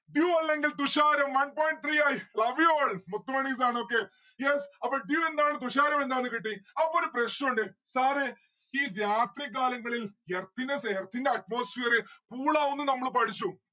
dew അല്ലെങ്കിൽ തുഷാരം one point three ആയി. love you all മുത്ത് മണീസ് ആണ് ഒക്കെ. yes അപ്പൊ dew എന്താണ് തുഷാരം എന്താണ് കിട്ടി. അപ്പൊ ഒരു പ്രശ്നുണ്ട് sir ഏ ഈ രാത്രി കാലങ്ങളിൽ earth നെ earth ന്റെ atmospherecool ആവുന്നു നമ്മള് പഠിച്ചു